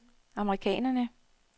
amerikanerne